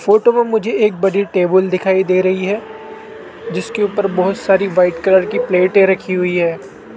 Photo में मुझे एक बड़ी टेबल दिखाई दे रही है जिसके ऊपर बहुत सारी व्हाइट कलर की प्लेटें रखी हुई है।